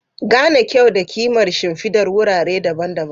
Gane kyau da kimar shimfidar wurare daban-daban.